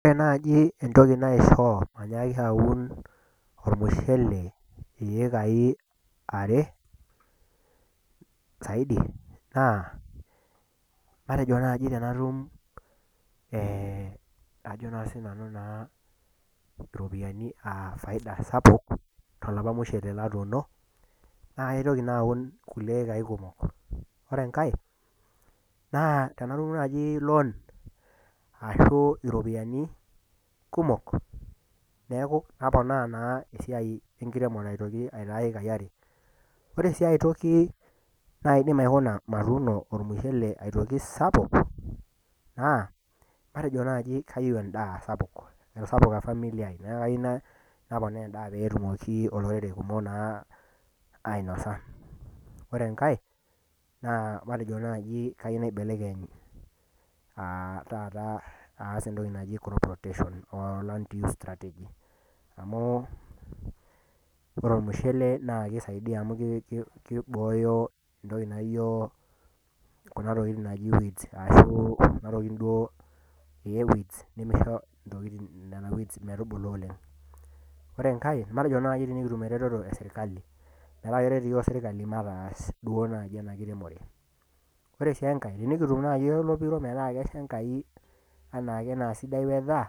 Ore naaji entoki naisho mainyaki aun olmushele iekai are zaidi, naa, matejo naaaji tenatum ajo sii nanu iropiani aa faida sapuk, toloopa mushele latuuno, naake aitoki ake aun kulikai ekai kumok. Ore enkai, tenatum naaji loan, ashu iropiani kumok, neaku naponaa naa esiai enkiremore aitoki aitaa iekai are. Ore sii ai toki naidim aiko matuuno olmushele aitoki kumok, naa matejo naaji kayieu endaa sapuk , etasapuka familia aai, naa kayou naponaa endaa pee etumoki olorere kumok naa ainosa. Ore enkai, naa matejo naaji ayeu naibelekeny taata aas entoki naji crop rotation o land use strategy, amu ore olmushele naa keisaidia amu keibooyo kuna tokin naijo weeds ashu kuna tokitin duo weeds metubulu oleng'. Ore enkai, naa matejo naaji eretoto e serkali metaret iyiok serkali duo mataas duo naaji ena kiremore. Ore sii enkai, tenikitum naaji olopiro metaa kesha Enkai, metaa anaake naa sidai weather.